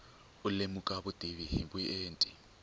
u lemuka vutivi hi vuenti